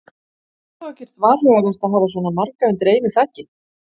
Er þá ekkert varhugavert að hafa svona marga undir einu þaki?